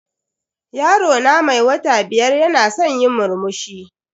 Yaro na mai wata biyar yana san yi murmushi.